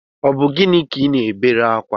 Ọ bu gịnị ka I ná-ebere akwa?